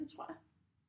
Ja det tror jeg